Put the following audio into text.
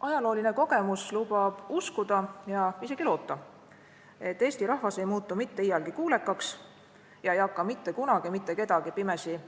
Ajalooline kogemus lubab uskuda ja isegi loota, et Eesti rahvas ei muutu mitte iialgi kuulekaks ega hakka mitte kunagi mitte kedagi pimesi